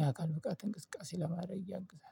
ያካል ብቃት እንቅስቃሴ ለማድረግ ያግዛል